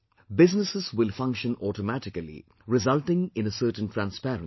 Businesses will function automatically, resulting in a certain transparency